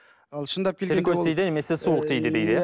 ал шындап тіл көз тиді немесе суық тиді дейді иә